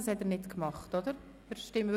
Dies hat er nicht getan, oder doch?